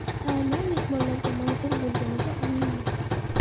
Taomlar mehmonlarga manzur bo‘lganiga aminmiz!